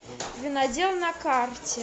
винодел на карте